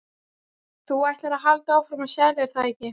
Þú ætlar að halda áfram að selja, er það ekki?